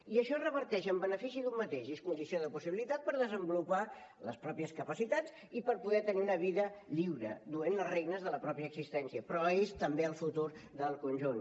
i això reverteix en el benefici d’un mateix i és condició de possibilitat per desenvolupar les pròpies capacitats i per poder tenir una vida lliure duent les regnes de la pròpia existència però és també el futur del conjunt